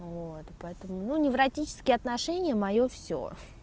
вот и поэтому ну невротические отношения моё всё